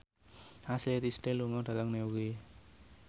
Ashley Tisdale lunga dhateng Newry